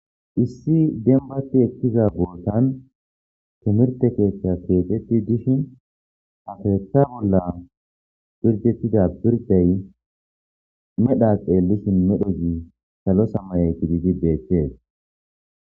issi dembati ekkiza bootan timirte keeththa keexetti dishin ha keetha bolla birdetida birday medha xeellishin medho zi salo samaye gididi beettees